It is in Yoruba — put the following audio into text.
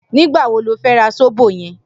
Nigbá wó ló fè rà sóbó yèn?